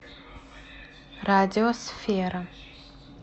радиосфера